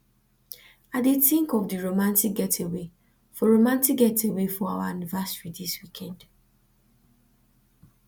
i dey tink of di romantic getaway for romantic getaway for our anniversary dis weekend